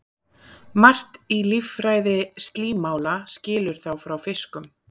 margt í líffræði slímála skilur þá frá fiskum